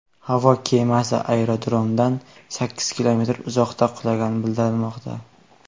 Havo kemasi aerodromdan sakkiz kilometr uzoqda qulagani bildirilmoqda.